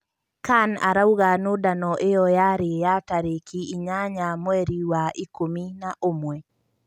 Kan arauga nũndano ĩyo yarĩ ya tarĩki inyanya mweri wa ikũmi na-ũmwe.